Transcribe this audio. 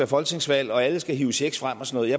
folketingsvalg og alle skal hive checks frem og sådan